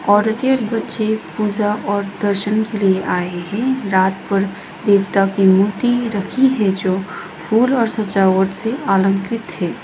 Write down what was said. औरते और बच्चे पूजा और दर्शन के लिए आए है रात भर देवता की मूर्ति रखी है जो फूल और सजावट से आलंकृत है।